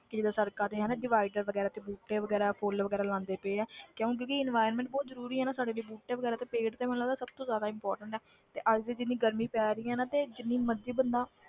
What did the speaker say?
ਕਿ ਜਿੱਦਾਂ ਸੜ੍ਹਕਾਂ ਤੇ ਹਨਾ divider ਵਗ਼ੈਰਾ ਤੇ ਬੂਟੇ ਵਗ਼ੈਰਾ ਫੁੱਲ ਵਗ਼ੈਰਾ ਲਗਾਉਂਦੇ ਪਏ ਹੈ ਕਿਉਂ ਕਿਉਂਕਿ environment ਬਹੁਤ ਜ਼ਰੂਰੀ ਹੈ ਨਾ ਸਾਡੇ ਲਈ ਬੂਟੇ ਵਗ਼ੈਰਾ ਤੇ ਪੇੜ੍ਹ ਤੇ ਮੈਨੂੰ ਲੱਗਦਾ ਸਭ ਤੋਂ ਜ਼ਿਆਦਾ important ਹੈ ਤੇ ਅੱਜ ਜਿੰਨੀ ਗਰਮੀ ਪੈ ਰਹੀ ਆ ਨਾ ਤੇ ਜਿੰਨੀ ਮਰਜ਼ੀ ਬੰਦਾ,